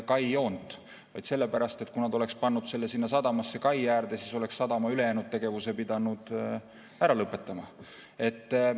sellepärast, et kui nad oleksid pannud selle sadamasse kai äärde, siis oleks sadama ülejäänud tegevused pidanud ära lõpetama.